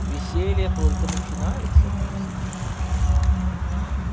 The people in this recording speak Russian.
веселье только начинается пупсик